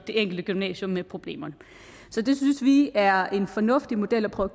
enkelte gymnasium med problemerne det synes vi er en fornuftig model at prøve